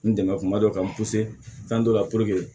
N dɛmɛ kuma dɔ ka n fɛn dɔ la